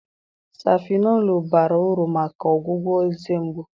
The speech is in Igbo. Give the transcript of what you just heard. Safịnọlụ bara uru maka ọgwụgwọ eze mgbu.